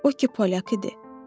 O ki polyak idi.